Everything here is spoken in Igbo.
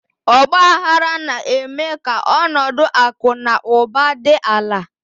Ọgbaaghara na-eme ka ọnọdụ akụ na ụba dị ala.